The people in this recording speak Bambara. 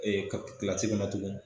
Ee ka kilasi min na tugun.